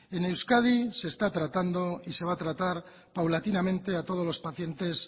en euskadi se está tratando y se va a tratar paulatinamente a todos los pacientes